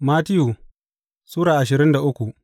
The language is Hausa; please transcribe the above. Mattiyu Sura ashirin da uku